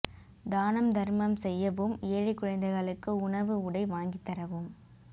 தானம் தர்மம் செய்யவும் ஏழைக் குழந்தைகளுக்கு உணவு உடை வாங்கித் தரவும்